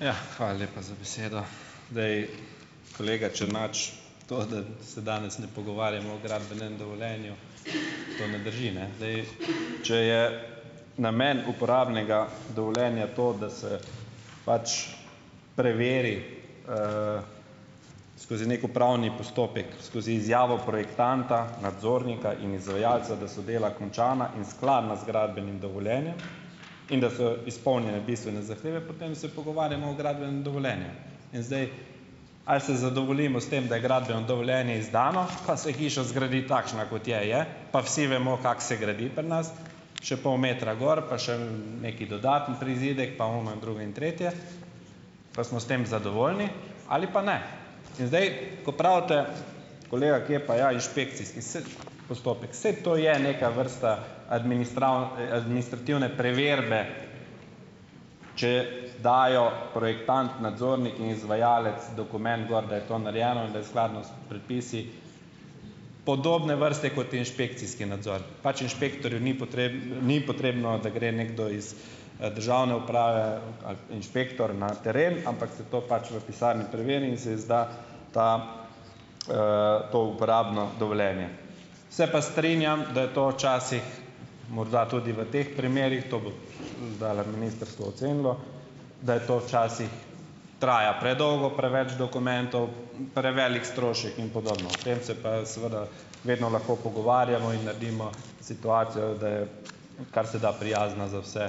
Ja, hvala lepa za besedo. Zdaj, kolega Černač, to, da se danes ne pogovarjamo o gradbenem dovoljenju, to ne drži, ne. Zdaj, če je namen uporabnega dovoljenja to, da se pač preveri, skozi neki upravni postopek, skozi izjavo projektanta, nadzornika in izvajalca, da so dela končana in skladna z gradbenim dovoljenjem, in da so izpolnjene bistvene zahteve, potem se pogovarjamo o gradbenem dovoljenju. In zdaj, ali se zadovoljimo s tem, da je gradbeno dovoljenje izdano, pa se hiša zgradi takšna, kot je, je, pa vsi vemo, kako se gradi pri nas, še pol metra gor pa še neki dodatni prizidek pa ono in drugo in tretje, pa smo s tem zadovoljni ali pa ne. In zdaj, kaj pravite, kolega, kje je pa inšpekcijski, postopek. Saj to je neka vrsta administrativne preverbe, če dajo, projektant, nadzornik in izvajalec dokument gor, da je to narejeno in da je skladno s predpisi, podobne vrste, kot je inšpekcijski nadzor. Pač inšpektorju ni ni potrebno, da gre nekdo iz državne uprave, inšpektor na teren, ampak se to pač v pisarni preveri in se izda ta, to uporabno dovoljenje. Se pa strinjam, da je to včasih morda tudi v teh primerih, to bo ministrstvo ocenilo, da je to včasih traja predolgo, preveč dokumentov, prevelik strošek in podobno, o tem se pa seveda vedno lahko pogovarjamo in naredimo situacijo, da je kar se da prijazna za vse,